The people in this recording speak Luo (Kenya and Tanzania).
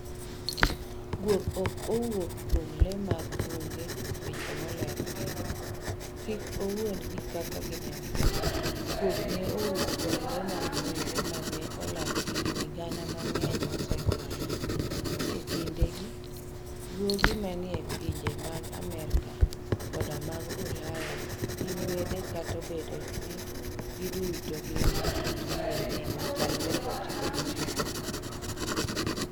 Guok ok owuok kuom le mag bungu weche moler piny, kik owuondi gi kaka ginenre Guok ne owuok kuom le mag bungu ma ne olal higini gana mang'eny mosekalo. E kindegi, guogi manie pinje mag Amerka koda mag Ulaya gin wede kata obedo ni giduto gin gi kit DNA machalre 99.